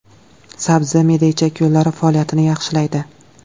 Sabzi me’da-ichak yo‘llari faoliyatini yaxshilaydi.